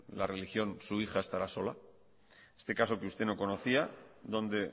la religión su hija estará sola este caso que usted no conocía donde